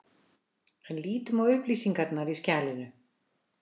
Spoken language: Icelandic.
En lítum á upplýsingarnar í skjalinu.